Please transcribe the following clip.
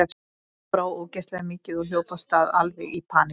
Mér brá ógeðslega mikið og hljóp af stað, alveg í paník.